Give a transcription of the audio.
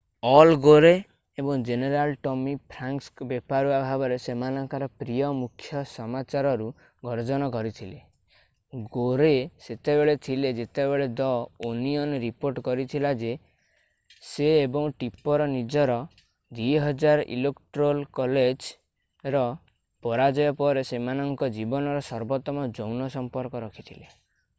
All Gore ଏବଂ general Tommy Franks ବେପରୁଆ ଭାବରେ ସେମାନଙ୍କର ପ୍ରିୟ ମୁଖ୍ୟ ସମାଚାରରୁ ଗର୍ଜନ କରିଥିଲେ ଗୋରେ ସେତେବେଳେ ଥିଲେ ଯେତେବେଳେ ଦ ଓନିଅନ୍ ରିପୋର୍ଟ କରିଥିଲା ଯେ ସେ ଏବଂ ଟିପର୍ ନିଜର 2000 ଇଲେକ୍ଟ୍ରୋଲ୍ କଲେଜ୍ ର ପରାଜୟ ପରେ ସେମାନଙ୍କ ଜୀବନର ସର୍ବୋତ୍ତମ ଯୌନ ସମ୍ପର୍କ ରଖିଥିଲେ।